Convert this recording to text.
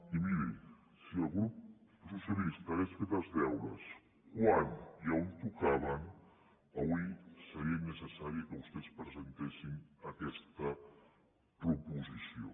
i miri si el grup socialista hagués fet els deures quan i on tocaven avui seria innecessari que vostès presentessin aquesta proposició